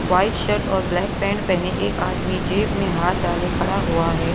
White shirt और black pant पहने एक आदमी जेब में हाथ डाले खड़ा हुआ है।